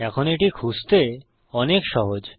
এখন এটি খুঁজতে অনেক সহজ